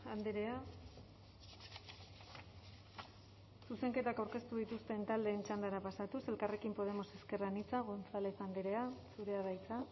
andrea zuzenketak aurkeztu dituzten taldeen txandara pasatuz elkarrekin podemos ezker anitza gonzález andrea zurea da hitza